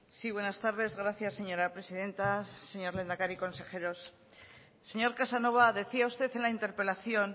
sí buenas tardes gracias señora presidenta señor lehendakari consejeros señor casanova decía usted en la interpelación